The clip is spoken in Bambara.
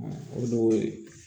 o de y'o ye